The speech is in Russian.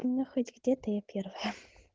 ну хоть где-то я первая